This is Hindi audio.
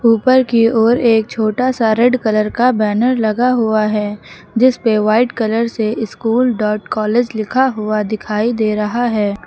ऊपर की ओर एक छोटा सा रेड कलर का बैनर लगा हुआ है जिस पर व्हाईट कलर से स्कूल डॉट कॉलेज लिखा हुआ दिखाई दे रहा है।